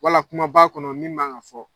Wala kuma b'a kɔnɔ min maan ka fɔ.